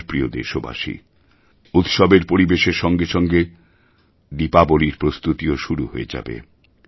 আমার প্রিয় দেশবাসী উৎসবের পরিবেশের সঙ্গে সঙ্গে দীপাবলীর প্রস্তুতিও শুরু হয়ে যাবে